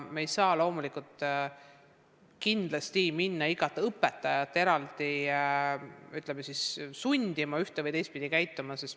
Me ei saa loomulikult minna igat õpetajat eraldi sundima ühte- või teistpidi käituma.